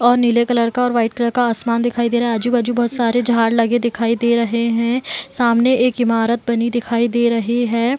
और नीले कलर का और वाइट कलर का आसमान दिखाई दे रहा है आजु-बाजू बहुत सारे झाड़ लगे दिखाई दे रहे हैं सामने एक ईमारत बनी दिखाई दे रही है।